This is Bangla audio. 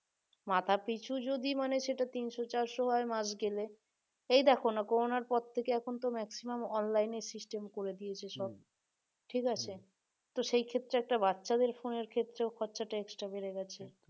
মাথাপিছু যদি মানে সেটা তিনশো চারশো হয় মাস গেলে এই দেখো না করোনার পর থেকে এখন তো maximum online এ system করে দিয়েছে ঠিক আছে তো সেই ক্ষেত্রে একটা বাচ্চাদের phone এর ক্ষেত্রেও খরচাটা extra বেড়ে গেছে